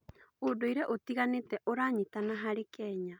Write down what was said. ũndũire ũtiganĩte ũranyitana harĩ kenya.